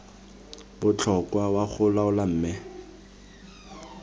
botlhokwa wa go laola mme